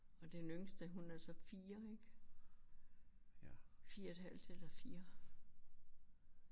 Og den yngste hun er så 4 ik. 4 et halvt eller 4